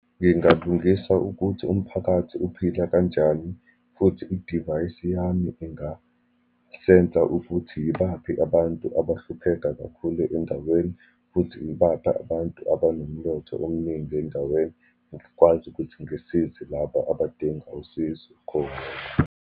Ngingalungisa ukuthi umphakathi uphila kanjani, futhi idivayisi yami ingasensa ukuthi yibaphi abantu abahlupheka kakhulu endaweni, futhi ibaphi abantu abanomnotho omningi endaweni. Ngikwazi ukuthi ngisize laba abadinga usizo khona.